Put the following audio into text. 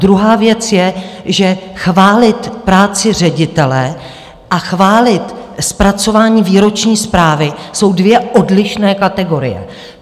Druhá věc je, že chválit práci ředitele a chválit zpracování výroční zprávy jsou dvě odlišné kategorie.